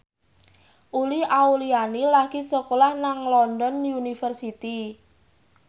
Uli Auliani lagi sekolah nang London University